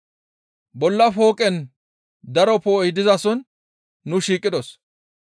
Bolla fooqen daro poo7oy dizason nu shiiqidos.